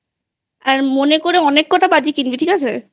আর মনে করে অনেক কটা বাজি কিনবি ঠিক আছে?